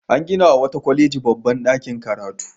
An ginawa wata kwaleji babban ɗakin karatu.